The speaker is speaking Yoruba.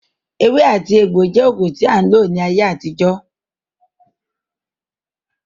Ewé àti egbò jẹ́ oògùn tí a ń lò ní ayé àtijọ́